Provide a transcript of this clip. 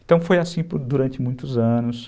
Então foi assim durante muitos anos.